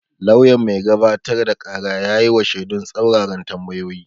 Lauyan mai gabatar da ƙara ya yi wa shedun tsaruraran tambayoyi.